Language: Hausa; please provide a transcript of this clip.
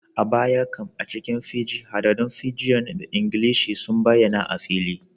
A baya can, a cikin Fiji, haɗaɗɗun Fijian da Ingilishi sun bayyana a fili